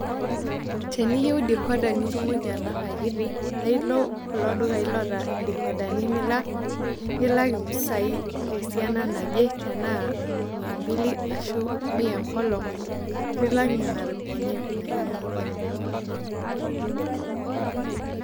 Teniyio decoder nitumoki alak akiti, naa ilo kulo dukai laata decodani nilak impisai esiana naje tenaa mia mbili enaa mia enkolong', nilak niana ropiyiani aikunaki nejia.